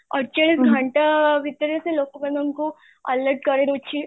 ଅଟଚାଳିଶ ଘଣ୍ଟା ଭିତରେ ସେ ଲୋକ ମାନଙ୍କୁ alert ଦଉଛି